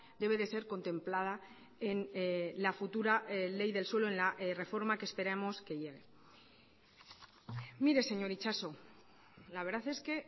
debe de ser contemplada en la futura ley del suelo en la reforma que esperamos que llegue mire señor itxaso la verdad es que